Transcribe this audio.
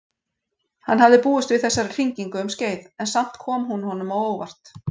Hann hafði búist við þessari hringingu um skeið, en samt kom hún honum á óvart.